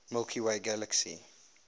milky way galaxy